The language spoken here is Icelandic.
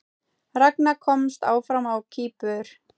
Ragna komst áfram á Kýpur